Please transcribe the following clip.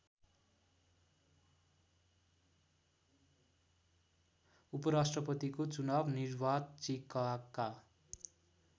उपराष्‍ट्रपतिको चुनाव निर्वाचिकाका